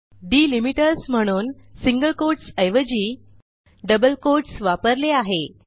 delimiters म्हणून single quotes ऐवजी double quotes वापरले आहे